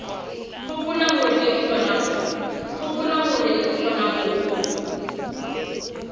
hopola hore re kgona ho